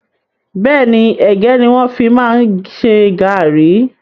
Bẹ́ẹ̀ni, ẹ̀gẹ́ ni wọn fi máa ń ṣe gàárì